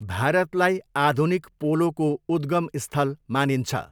भारतलाई आधुनिक पोलोको उद्गम स्थल मानिन्छ।